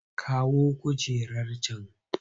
Kawo kujerar can!